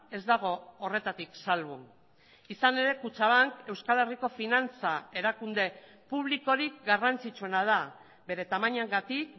ez dago horretatik salbu izan ere kutxabank euskal herriko finantza erakunde publikorik garrantzitsuena da bere tamainagatik